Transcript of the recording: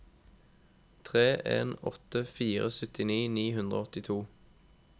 tre en åtte fire syttini ni hundre og åttito